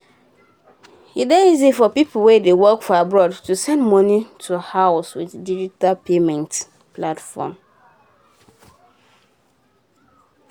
e dey easy for people wey dey work for abroad to send money go house with digital payment platform.